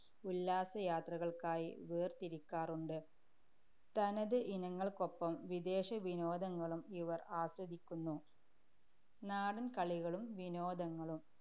ഉല്ലാസയാത്രകൾക്കായി വേർതിരിക്കാറുണ്ട്. തനത് ഇനങ്ങൾക്കൊപ്പം വിദേശ വിനോദങ്ങളും ഇവർ ആസ്വദിക്കുന്നു നാടന്‍ കളികളും വിനോദങ്ങളും.